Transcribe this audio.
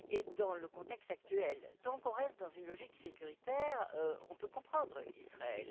Et dans le contexte actuel temporel, tant qu'on reste dans une logique sécuritaire, on peut comprendre Israël.